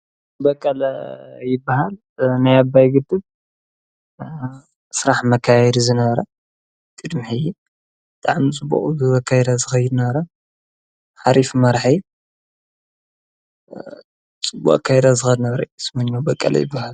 በቀለ ይበሃል መያባይግድብ ሥራሕ መካይድ ዘነበረ ድድሚሕ ጠዓም ጽኡ ዝ ካይራ ዘኸይነራ ሓሪፍ መራሐይ ጽ ካይራ ዘኸነበረ ይስምኛ በቀለ ኣይበሃል።